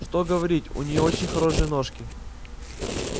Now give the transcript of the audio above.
что говорить у неё очень хорошенькие ножки